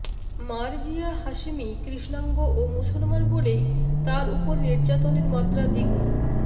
Marzieh Hashemi কৃষ্ণাঙ্গ ও মুসলমান বলেই তার ওপর নির্যাতনের মাত্রা দ্বিগুণ